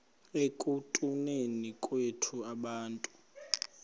ekutuneni kwethu abantu